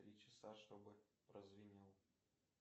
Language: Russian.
три часа чтобы прозвенел